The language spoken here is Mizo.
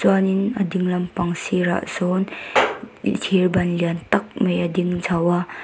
chuanin a ding lam pang sirah sawn thir ban lian tak mai a ding chho a.